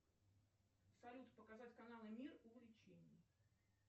салют показать каналы мир увлечений